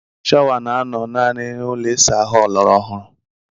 Shawa na anọ naanị na ụlọ ịsa ahụ ọlọrọ ọhụrụ.